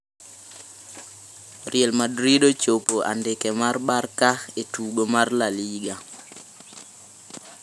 Real Madrid ochopo andike mar Barca e tugo mar La Liga